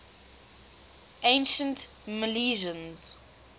ancient milesians